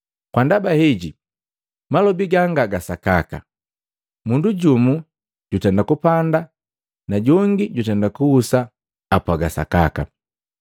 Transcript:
Kwa ndaba heji malobi ganga ga sakaka, ‘Mundu jumu jutenda kupanda na jongi jutenda kuhusa apwaga sakaka.’